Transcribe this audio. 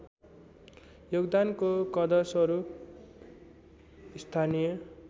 योगदानको कदरस्वरूप स्थानीय